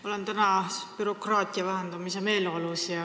Ma olen täna bürokraatia vähendamise meeleolus.